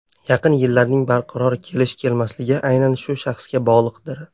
Yaqin yillarning barqaror kelish-kelmasligi aynan shu shaxsga bog‘liqdir.